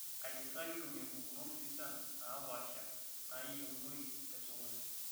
Aji sa kitumie mpukunot sidan naapaasha naayienoi te sokoni?